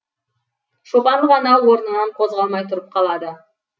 шопан ғана орнынан қозғалмай тұрып қалады